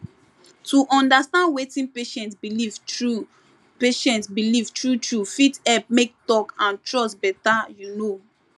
to understand wetin patient believe true patient believe true true fit help make talk and trust better you know